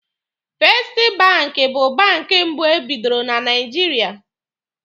Festi banki bụ banki mbụ e bidoro na Naijiria.